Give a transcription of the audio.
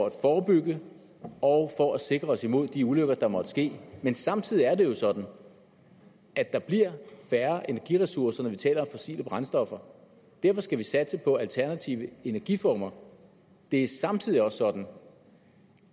at forebygge og for at sikre os imod de ulykker der måtte ske men samtidig er det jo sådan at der bliver færre energiressourcer når vi taler om fossile brændstoffer derfor skal vi satse på alternativer energiformer det er samtidig også sådan